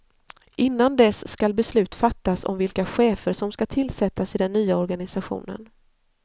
Innan dess skall beslut fattas om vilka chefer som skall tillsättas i den nya organisationen.